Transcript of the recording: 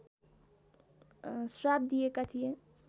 श्राप दिएका थिए